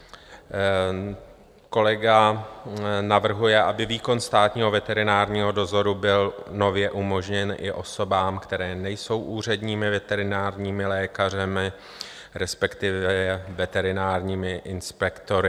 Kolega navrhuje, aby výkon státního veterinárního dozoru byl nově umožněn i osobám, které nejsou úředními veterinárními lékaři, respektive veterinárními inspektory.